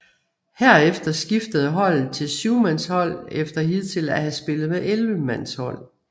Herefter skiftede holdet til syvmandshold efter hidtil at have spillet med ellevemandshold